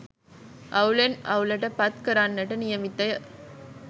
අවුලෙන් අවුලට පත් කරන්නට නියමිත ය